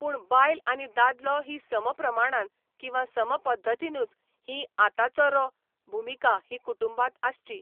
पुणू बायल आनी दादलो ही समप्रमाणान किंवा सम पद्दतीनूच हीं आ तांचो रो भुमिका ही कुटुंबांत आसची.